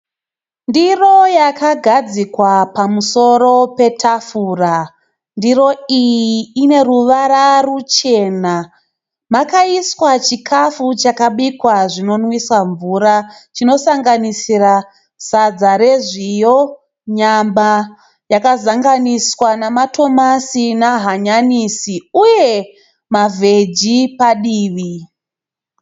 Ndiro yakagadzikwa pamusoro petafura. Ndiro iyi ine ruvara ruchena. Makaiswa chikafu chakabikwa zvinonwisa mvura. Chinosanganisira sadza rezviyo, nyama yakazanganiswa nematomasi nehanyanisi uye mavheji padivi.